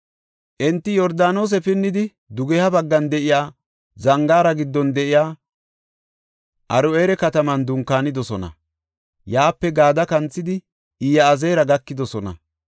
Enti Yordaanose pinnidi dugeha baggan de7iya, zangaara giddon de7iya Aro7eera kataman dunkaanidosona; yaape Gaade kanthidi Iyazeera gakidosona.